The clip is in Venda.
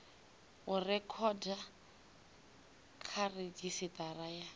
u rekhoda kha redzhisitara ya